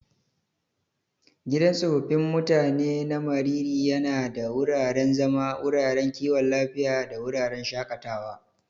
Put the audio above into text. Gidan tsofaffin mutanen na Mariri yana da wuraren zama, wuraren kiwon lafiya, da wuraren shakatawa.